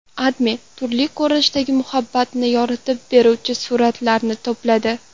AdMe turli ko‘rinishdagi muhabbatni yoritib beruvchi suratlarni to‘pladi .